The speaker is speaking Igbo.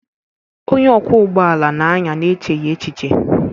Onye ọkwọ ụgbọ ala na-anya n'echeghị echiche.